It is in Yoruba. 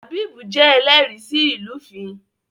Habib jé ẹlẹri sí ilufin